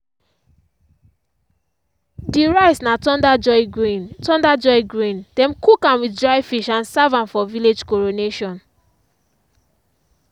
the rice na thunder joy grain thunder joy grain dem cook am with dry fish and serve am for village coronation.